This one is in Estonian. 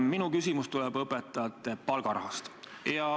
Minu küsimus tuleb õpetajate palgaraha kohta.